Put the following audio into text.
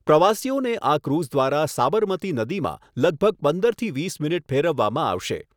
પ્રવાસીઓને આ ક્રુઝ દ્વારા સાબરમતી નદીમાં લગભગ પંદરથી વીસ મિનિટ ફેરવવામાં આવશે.